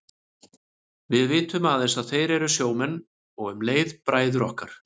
Við vitum aðeins að þeir eru sjómenn og um leið bræður okkar.